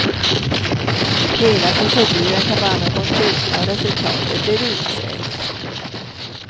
Hela proceduren tar bara någon timme och resultatet blir utsökt.